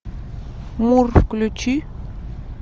мур включи